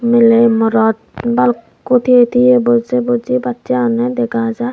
mile morot balukko tigey tigey boje boje bacche agonde dega jai.